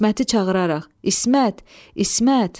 İsməti çağıraraq, İsmət, İsmət!